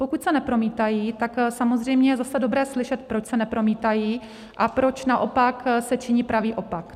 Pokud se nepromítají, tak samozřejmě je zase dobré slyšet, proč se nepromítají a proč naopak se činí pravý opak.